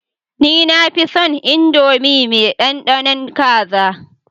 Ni nafinson indomie me dandanon kaza